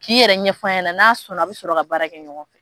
K'i yɛrɛ ɲɛfɔ a ɲɛna n'a sɔnna a bɛ sɔrɔ ka baara kɛ ɲɔgɔn fɛ